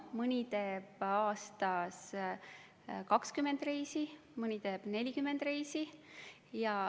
Mõni teeb aastas 20 reisi, mõni teeb 40 reisi.